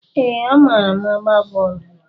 Ee, amaara m agba bọọlu.